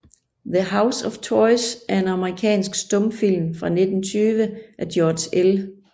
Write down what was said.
The House of Toys er en amerikansk stumfilm fra 1920 af George L